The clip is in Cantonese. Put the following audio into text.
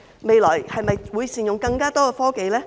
未來會否善用更多科技呢？